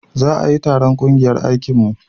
za a yi taron ƙungiyar aikin mu